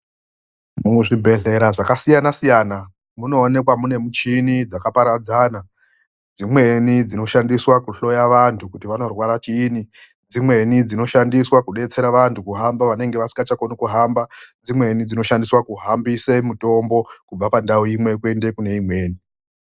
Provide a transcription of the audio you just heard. Muzvibhedhlera zvakasiyana-siyana, munoonekwa mune michini dzakaparadzana. Dzimweni dzinoshandiswa kuhloya vanthu kuti vanorwara chiini, dzimweni dzinoshandiswa kudetsera vanthu kuhamba vanenge vasikachakoni kuhamba, dzimweni dzinoshandiswa kuhambise mutombo kubva pandau imwe kuende pane imweni.